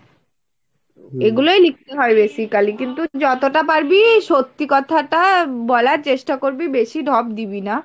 এগুলোই লিখতে হয় basically কিন্তু যতটা পারবি সত্যি কথাটা বলার চেষ্টা করবি বেশি ঢপ দিবি না।